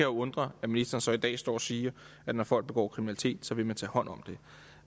undre at ministeren så i dag står og siger at når folk begår kriminalitet så vil man tage hånd om det